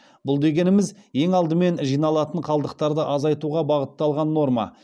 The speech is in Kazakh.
бұл дегеніміз ең алдымен жиналатын қалдықтарды азайтуға бағытталған норма